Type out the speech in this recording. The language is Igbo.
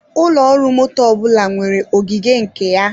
Ụlọ ọrụ motto ọbụla nwere ogige nke ya.